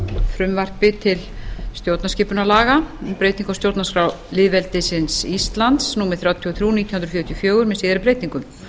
frumvarpi til stjórnarskipunarlaga um breytingar á stjórnarskrá lýðveldisins íslands númer þrjátíu og þrjú nítján hundruð fjörutíu og fjögur með síðari breytingum